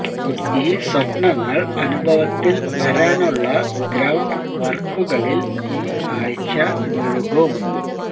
ഈ സ്വപ്നങ്ങൾ അനുഭവത്തിൽ വരാനുള്ള ഗ്രൌണ്ട് വർക്കുകളിൽ ഈ ആഴ്ച മുഴുകും